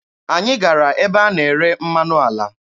Anyị gara ebe a na-ere mmanụ ala.